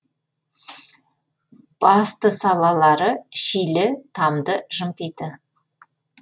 басты салалары шилі тамды жымпиты